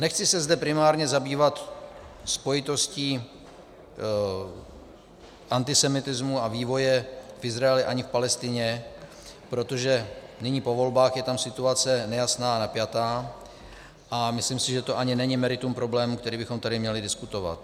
Nechci se zde primárně zabývat spojitostí antisemitismu a vývoje v Izraeli ani v Palestině, protože nyní po volbách je tam situace nejasná a napjatá, a myslím si, že to ani není meritum problému, který bychom tady měli diskutovat.